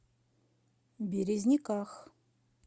березниках